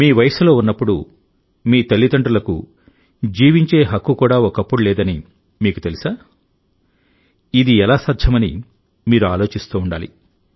మీ వయస్సులో ఉన్నప్పుడు మీ తల్లిదండ్రులకు జీవించే హక్కు కూడా ఒకప్పుడు లేదని మీకు తెలుసా ఇది ఎలా సాధ్యమని మీరు ఆలోచిస్తూ ఉండాలి